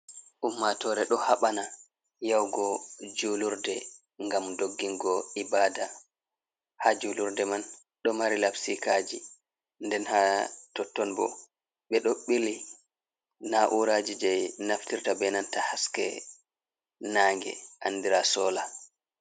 Ummatore ɗo haɓana yahugo julurde gam doggigo ibada. Ha julurde man ɗo mari labpikaji nden ha totton bo ɓe ɗo bili nauraji je naftirta be nanta haske naage andira sola.